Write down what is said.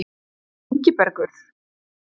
Ingibergur